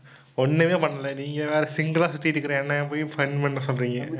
ஒண்ணுமே பண்ணல. நீங்க வேற single லா சுத்திக்கிட்டு இருக்கற என்னை போய் fun பண்ண சொல்றீங்க?